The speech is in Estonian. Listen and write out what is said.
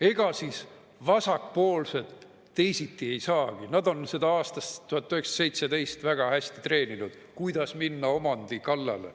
Ega siis vasakpoolsed teisiti ei saagi, nad on seda aastast 1917 väga hästi treeninud, kuidas minna omandi kallale.